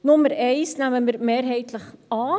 Nummer 1 nehmen wir mehrheitlich an.